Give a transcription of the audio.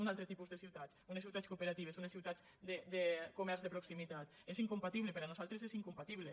un altre tipus de ciutats unes ciutats cooperatives unes ciutats de comerç de proximitat és incompatible per a nosaltres és incompatible